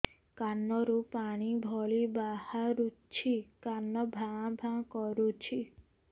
କାନ ରୁ ପାଣି ଭଳି ବାହାରୁଛି କାନ ଭାଁ ଭାଁ କରୁଛି